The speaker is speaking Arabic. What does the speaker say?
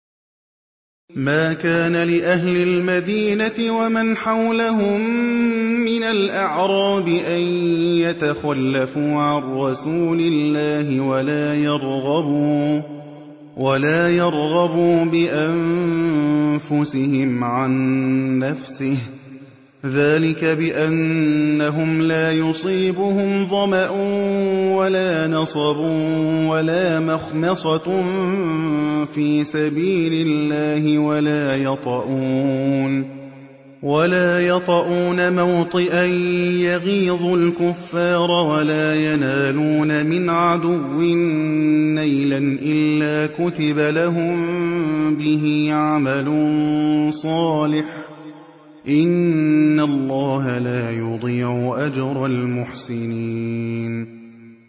مَا كَانَ لِأَهْلِ الْمَدِينَةِ وَمَنْ حَوْلَهُم مِّنَ الْأَعْرَابِ أَن يَتَخَلَّفُوا عَن رَّسُولِ اللَّهِ وَلَا يَرْغَبُوا بِأَنفُسِهِمْ عَن نَّفْسِهِ ۚ ذَٰلِكَ بِأَنَّهُمْ لَا يُصِيبُهُمْ ظَمَأٌ وَلَا نَصَبٌ وَلَا مَخْمَصَةٌ فِي سَبِيلِ اللَّهِ وَلَا يَطَئُونَ مَوْطِئًا يَغِيظُ الْكُفَّارَ وَلَا يَنَالُونَ مِنْ عَدُوٍّ نَّيْلًا إِلَّا كُتِبَ لَهُم بِهِ عَمَلٌ صَالِحٌ ۚ إِنَّ اللَّهَ لَا يُضِيعُ أَجْرَ الْمُحْسِنِينَ